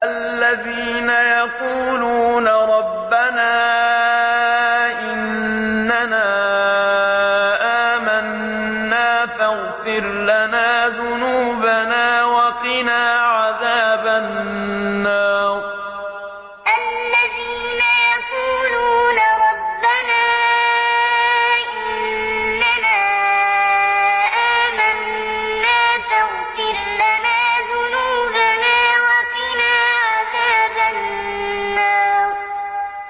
الَّذِينَ يَقُولُونَ رَبَّنَا إِنَّنَا آمَنَّا فَاغْفِرْ لَنَا ذُنُوبَنَا وَقِنَا عَذَابَ النَّارِ الَّذِينَ يَقُولُونَ رَبَّنَا إِنَّنَا آمَنَّا فَاغْفِرْ لَنَا ذُنُوبَنَا وَقِنَا عَذَابَ النَّارِ